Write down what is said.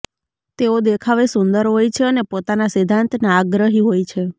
તેઓ દેખાવે સુંદર હોય છે અને પોતાના સિદ્ધાંતના આગ્રહી હોય છે